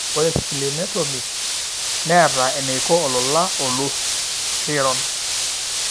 Ore Splenectomy neeta eneiko olola olus leiron.